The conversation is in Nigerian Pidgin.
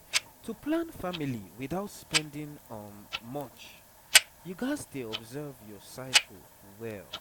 to plan family without spending um much you gats dey observe your cycle well